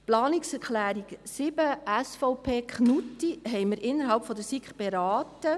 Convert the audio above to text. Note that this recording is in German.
Die Planungserklärung 7, SVP, Knutti, haben wir in der SiK beraten.